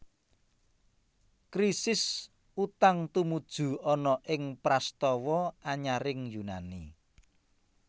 Krisis utang tumuju ana ing prastawa anyaring Yunani